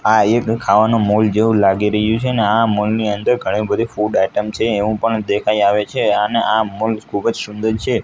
આ એક ખાવાનો મોલ જેવું લાગી રહ્યું છે ને આ મોલ ની અંદર ઘણી બધી ફૂડ આઈટમ છે એવું પણ દેખાય આવે છે અને આ મોલ ખુબ જ સુંદર છે.